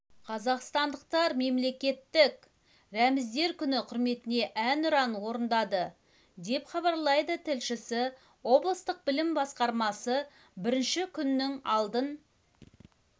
қазақстандықтар мемлекеттік рәміздер күні құрметіне әнұранын орындады деп хабарлайды тілшісі облыстық білім басқармасы бірінші күннің алдын